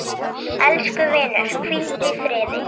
Elsku vinur, hvíldu í friði.